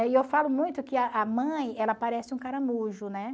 e eu falo muito que a a mãe, ela parece um caramujo, né?